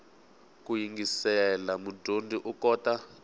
ku yingisela mudyondzi u kota